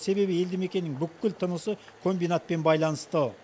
себебі елді мекеннің бүкіл тынысы комбинатпен байланысты